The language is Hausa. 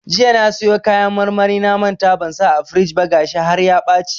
Jiya na siyo kayan marmarin na manta ban sa a firij ba gashi har ya ɓaci.